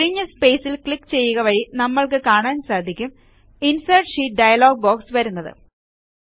ഒഴിഞ്ഞ സ്പേസിൽ ക്ലിക്ക് ചെയ്യുക വഴി നമ്മൾക്ക് കാണാൻ സാധിക്കുക ഇൻസെർട്ട് ഷീറ്റ് ഡയലോഗ് ബോക്സ് വരുന്നത്